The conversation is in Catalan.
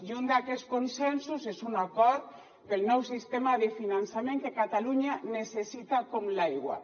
i un d’aquests consensos és un acord pel nou sistema de finançament que catalunya necessita com l’aigua